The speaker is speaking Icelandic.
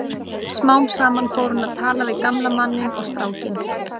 Smám saman fór hún að tala við gamla manninn og strákinn.